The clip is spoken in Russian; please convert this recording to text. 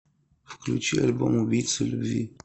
включи альбом убийца любви